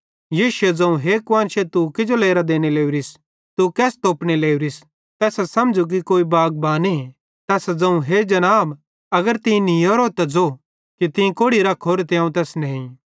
यीशुए ज़ोवं हे कुआन्शे तू किजो लेरां देने लोरिस तू केस तोपने लोरिस तैसां समझ़़ु कि कोई बागबाने तैसां ज़ोवं हे जनाब अगर तीं तै नीयोरोए त ज़ो कि तीं कोड़ि रख्खोरोए ते अवं तैस नेई